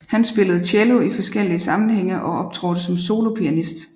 Han spillede cello i forskellige sammenhænge og optrådte som solopianist